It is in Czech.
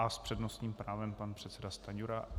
A s přednostním právem pan předseda Stanjura.